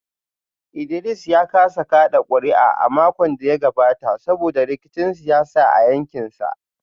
Idris ya kasa kada kuri’a a makon da ya gabata saboda rikicin siyasa a yankinsa